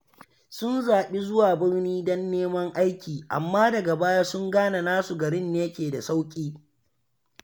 Sun zaɓi zuwa birni don neman aiki, amma daga baya sun gane nasu garin ne ke da sauƙi.